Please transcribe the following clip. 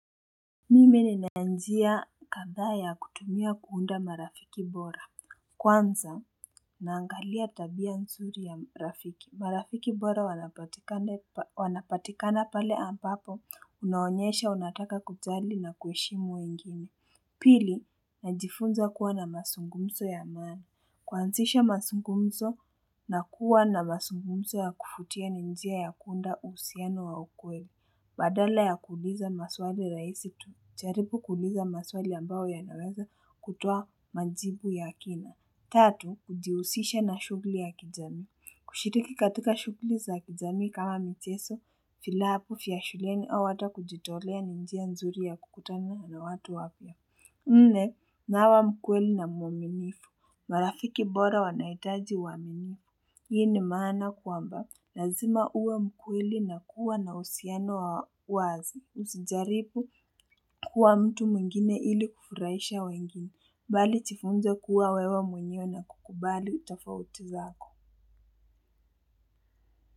Mimi nina njia kadhaa ya kutumia kuunda marafiki bora Kwanza, naangalia tabia nzuri ya rafiki. Marafiki bora wanapatikane wanapatikana pale ambapo unaonyesha unataka kujali na kuheshimu wengine Pili, najifunza kuwa na mazungumzo ya amani. Kuanzisha mazungumzo na kuwa na mazungumzo ya kuvutia ni njia ya kuunda uhusiano wa ukweli. Badala ya kuuliza maswali rahisi tu, jaribu kuuliza maswali ambayo yanaweza kutoa majibu ya kina. Tatu, kujihusisha na shughuli ya kijamii. Kushiriki katika shughuli za kijamii kama michezo, vilabu vya shuleni au hata kujitolea ni njia nzuri ya kukutana na watu wapya. Nne, nawa mkweli na muaminifu, marafiki bora wanahitaji uaminifu. Hii ni maana kwamba, lazima uwe mkweli na kuwa na uhusiano wa wazi, usijaribu kuwa mtu mwngine ili kufurahisha wengine, bali jifunze kuwa wewa mwenyewe na kukubali tofauti zako.